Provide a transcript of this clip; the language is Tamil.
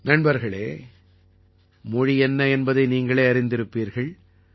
நண்பர்களே மொழிஎன்னஎன்பதைநீங்களேஅறிந்திருப்பீர்கள்